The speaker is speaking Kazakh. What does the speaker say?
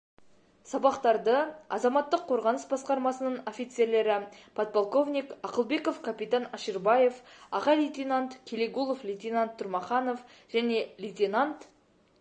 сабақтарды азаматтық қорғаныс басқармасының офицерлері подполковник ақылбеков капитан аширбаев аға лейтенант келегулов лейтенант тұрмаханов және лейтенант